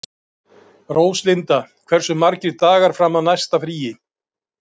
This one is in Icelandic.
Róslinda, hversu margir dagar fram að næsta fríi?